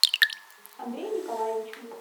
андрею николаевичу